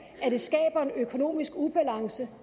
at det skaber en økonomisk ubalance